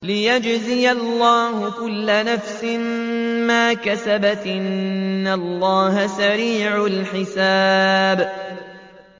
لِيَجْزِيَ اللَّهُ كُلَّ نَفْسٍ مَّا كَسَبَتْ ۚ إِنَّ اللَّهَ سَرِيعُ الْحِسَابِ